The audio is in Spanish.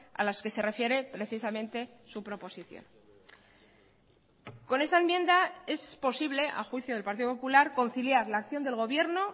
a las que se refiere precisamente su proposición con esa enmienda es posible a juicio del partido popular conciliar la acción del gobierno